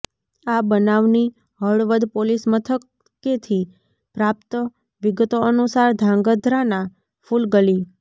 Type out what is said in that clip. આ બનાવની હળવદ પોલીસ મથકેથી પ્રાપ્ત વિગતો અનુસાર ધાંગધ્રાના ફુલગલી